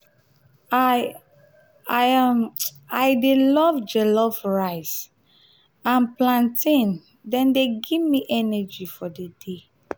i um dey love jollof rice um and plantain dem dey give me energy for di day.